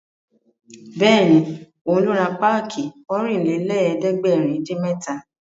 Bẹ́ẹ̀ni, òun ló ra páàkì Ọ̀rìnlélẹ̀ẹ́dẹ́gbèrin-dín-mẹ́ta